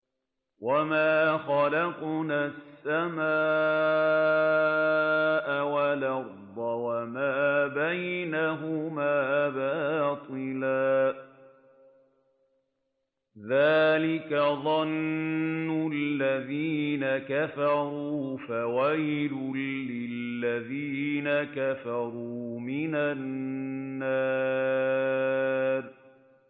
وَمَا خَلَقْنَا السَّمَاءَ وَالْأَرْضَ وَمَا بَيْنَهُمَا بَاطِلًا ۚ ذَٰلِكَ ظَنُّ الَّذِينَ كَفَرُوا ۚ فَوَيْلٌ لِّلَّذِينَ كَفَرُوا مِنَ النَّارِ